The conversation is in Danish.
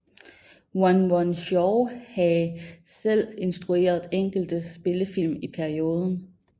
Run Run Shaw hae selv instrueret enkelte spillefilm i perioden